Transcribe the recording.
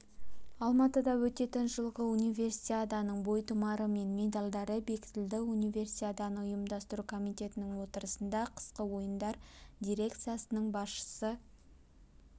алматыда өтетін жылғы универсиаданың бойтұмары мен медальдары бектілді универсиаданы ұйымдастыру комитетінің отырысында қысқы ойындар дирекциясының басшысы